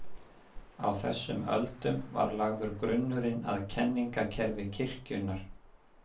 Á þessum öldum var lagður grunnurinn að kenningakerfi kirkjunnar.